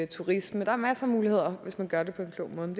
turisme der er masser af muligheder hvis man gør det på en klog måde